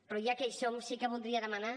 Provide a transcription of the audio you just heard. però ja que hi som sí que voldria demanar